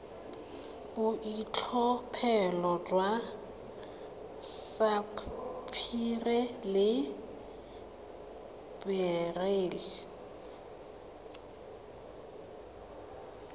boitlhophelo jwa sapphire le beryl